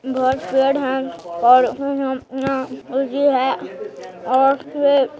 घर पेड़ है और ऐ न सूजी है और ये--